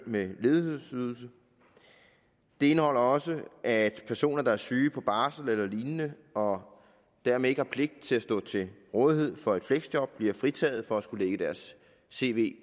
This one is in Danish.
med ledighedsydelse det indeholder også at personer der er syge på barsel eller lignende og dermed ikke har pligt til at stå til rådighed for et fleksjob bliver fritaget for at skulle lægge deres cv